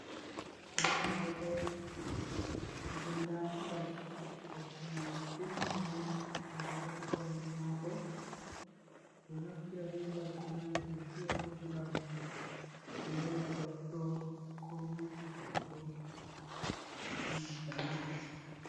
Goɗɗo on oɗo dari, nden nda mbaggu, mbaggu jungu ni, ngu ɗo dari kombi mako, ɓeɗo naftira be mbaggu mai be fia ɗum ngam Lela goɗɗo ko manta mo.